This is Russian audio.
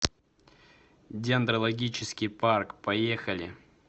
дендрологический парк поехали